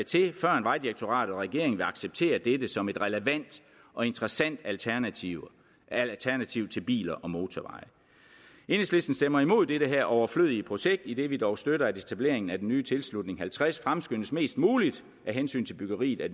til førend vejdirektoratet og regeringen vil acceptere dette som et relevant og interessant alternativ alternativ til biler og motorveje enhedslisten stemmer imod det her overflødige projekt idet vi dog støtter at etableringen af den nye tilslutning halvtreds fremskyndes mest muligt af hensyn til byggeriet af